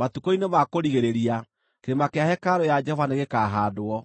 Matukũ-inĩ ma kũrigĩrĩria kĩrĩma kĩa hekarũ ya Jehova nĩgĩkahaandwo